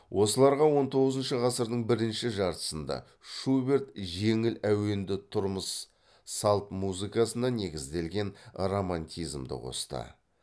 осыларға он тоғызыншы ғасырдың бірінші жартысында шуберт жеңіл әуенді тұрмыс малт музыкасына негізделген романтизмді қосты